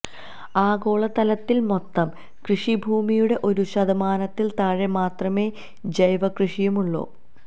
ആഗോളതലത്തില് മൊത്തം കൃഷി ഭൂമിയുടെ ഒരു ശതമാനത്തില് താഴെ മാത്രമേ ജൈവകൃഷിയുള്ളൂ